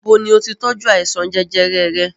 Ibo ni o ti tọ́jú àìsàn jẹjẹrẹ rẹ?